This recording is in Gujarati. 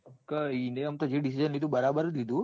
કે એને આમ તો જે decision લીધું જ લીધું.